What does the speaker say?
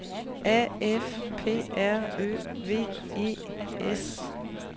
A F P R Ø V E S